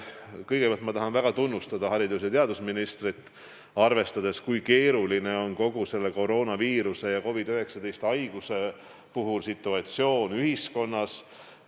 Kõigepealt ma tahan väga tunnustada haridus- ja teadusministrit, arvestades, kui keeruline on kogu selle koroonaviiruse ja COVID-19 haiguse puhul situatsioon ühiskonnas.